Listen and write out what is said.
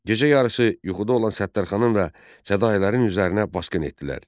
Gecə yarısı yuxuda olan Səttarxanın və fədahilərin üzərinə basqın etdilər.